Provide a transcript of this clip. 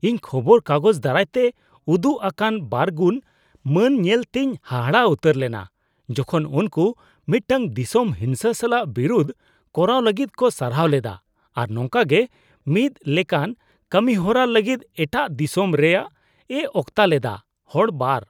ᱤᱧ ᱠᱷᱚᱵᱚᱨ ᱠᱟᱜᱚᱡ ᱫᱟᱨᱟᱭ ᱛᱮ ᱩᱫᱩᱜ ᱟᱠᱟᱱ ᱵᱟᱨᱜᱩᱱ ᱢᱟᱱ ᱧᱮᱞᱛᱮᱧ ᱦᱟᱦᱟᱜ ᱩᱛᱟᱹᱨ ᱞᱮᱱᱟ ᱡᱚᱠᱷᱚᱱ ᱩᱱᱠᱩ ᱢᱤᱫᱴᱟᱝ ᱫᱤᱥᱚᱢ ᱦᱤᱸᱥᱟᱹ ᱥᱟᱞᱟᱜ ᱵᱤᱨᱩᱫ ᱠᱚᱨᱟᱣ ᱞᱟᱹᱜᱤᱫ ᱠᱚ ᱥᱟᱨᱦᱟᱣ ᱞᱮᱫᱟ ᱟᱨ ᱱᱚᱝᱠᱟᱜᱮ ᱢᱤᱫ ᱞᱮᱠᱟᱱ ᱠᱟᱹᱢᱤᱦᱚᱨᱟ ᱞᱟᱹᱜᱤᱫ ᱮᱴᱟᱜ ᱫᱤᱥᱚᱢ ᱨᱮᱭᱟᱜ ᱮ ᱚᱠᱛᱟ ᱞᱮᱫᱟ ᱾ (ᱦᱚᱲ ᱒)